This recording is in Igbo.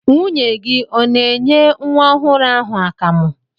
Nwunye gị ọ na-enye nwa ọhụrụ ahụ akamụ?